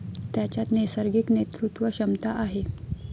त्याच्यात नैसर्गिक नेतृत्वक्षमता आहे.